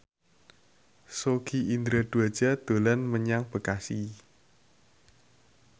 Sogi Indra Duaja dolan menyang Bekasi